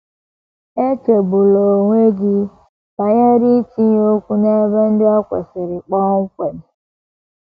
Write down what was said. Echegbula onwe gị banyere itinye okwu n’ebe ndị o kwesịrị kpọmkwem.